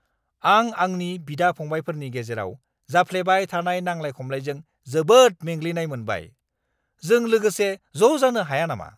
आं आंनि बिदा-फंबायफोरनि गेजेराव जाफ्लेबाय थानाय नांलाय-खमलाइजों जोबोद मेंग्लिनाय मोनबाय। जों लोगोसे ज' जानो हाया नामा?